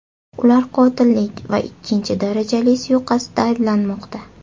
Ular qotillik va ikkinchi darajali suiqasdda ayblanmoqda.